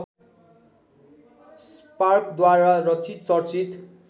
स्पार्कद्वारा रचित चर्चित